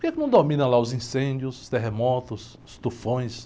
Por quê que não domina lá os incêndios, terremotos, os tufões?